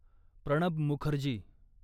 Pranab Mukherjee